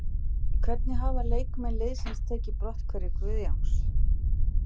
Hvernig hafa leikmenn liðsins tekið brotthvarfi Guðjóns?